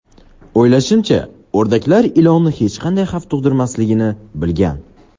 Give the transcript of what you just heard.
O‘ylashimcha, o‘rdaklar ilonni hech qanday xavf tug‘dirmasligini bilgan.